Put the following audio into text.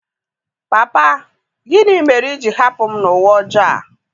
Papa! Gịnị mere i ji hapụ m n’ụwa ọjọọ a?